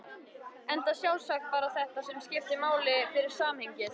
Enda sjálfsagt bara þetta sem skipti máli fyrir samhengið.